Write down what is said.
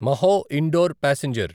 Mhow Indore passenger